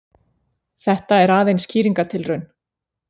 Þetta er aðeins skýringartilraun.